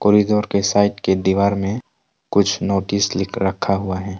और इधर के साइड के दीवार मे कुछ नोटिस लिख रखा हुआ है।